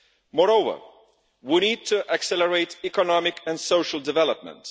Moreover, we need to accelerate economic and social development.